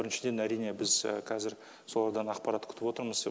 біріншіден әрине біз қазір солардан ақпарат күтіп отырмыз